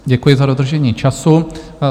Děkuji za dodržení času.